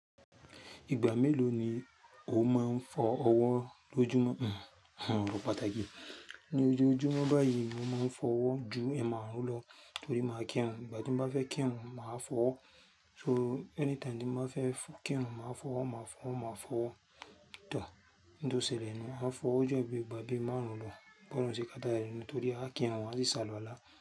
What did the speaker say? Ìgbà mélòó ni o máa ń fọ ọwọ́ lójúmọ́? Àwon ọ̀rọ̀ pàtàkì ni ojo ojúmọ́ báyìí mo máa ń fọ ọwọ́ ju ẹ máàrùn lọ torí màá kì'run. Ìgbà tí mo bá fẹ́ kí'run, màá fọ ọwọ́. So anytime tí mo bá fẹ́ f-- kí'run, màá fọ ọwọ́, màá fọ, màá fọ. Ń tò sẹ̀lẹ̀ ní mo màá fọwo jú bí gbà bí márùn-ún lọ, bọ̀ lọ̀run ṣé kátà ni nítorí á kí rùn, á sì sáluwalá.